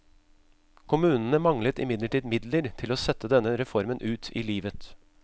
Kommunene manglet imidlertid midler til å sette denne reformen ut i livet.